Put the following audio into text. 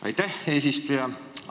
Aitäh, eesistuja!